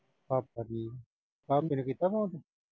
ਭਾਪਾ ਜੀ, ਭਾਪੇ ਨੂੰ ਕੀਤਾ ਫੋਨ